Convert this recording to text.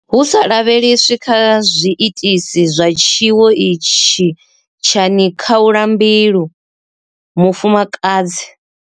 Hu sa lavheleswi kha zwi itisi zwa tshiwo itshi tsha nikhaulambilu, mufumakadzi.